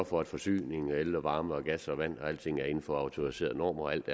for at forsyningen af el varme gas vand og alting er inden for autoriserede normer og at alt